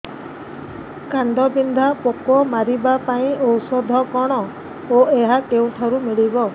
କାଣ୍ଡବିନ୍ଧା ପୋକ ମାରିବା ପାଇଁ ଔଷଧ କଣ ଓ ଏହା କେଉଁଠାରୁ ମିଳିବ